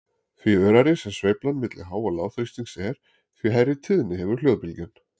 Því örari sem sveiflan milli há- og lágþrýstings er, því hærri tíðni hefur hljóðbylgjan.